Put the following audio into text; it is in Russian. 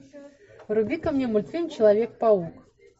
вруби ка мне мультфильм человек паук